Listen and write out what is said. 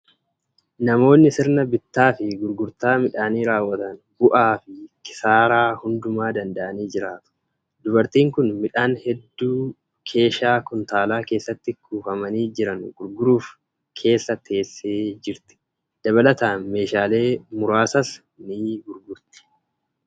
Namoonni sirna bittaa fi gurgurtaa midhaanii raawwatan bu'aa fi kisaaraa hundumaa danda'anii jiraatu. Dubartiin kun midhaan hedduu keeshaa kuntaala keessatti kuufamanii jiran gurguruuf keessa teessee jirti. Dabalataan meeshaalee muraasas ni gurgurti.